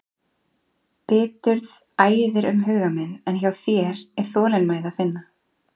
Biturð æðir um huga minn en hjá þér er þolinmæði að finna.